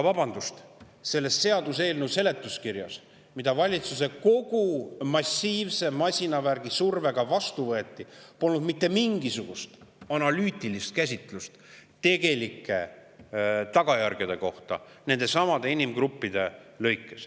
Vabandust, selle seaduseelnõu seletuskirjas, mis kogu valitsuse massiivse masinavärgi survega vastu võeti, pole mitte mingisugust analüütilist käsitlust tegelike tagajärgede kohta nendelesamadele inimgruppidele.